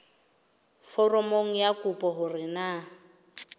foromong ya kopo hore na